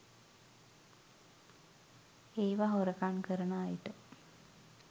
ඒව හොරකම් කරන අයට.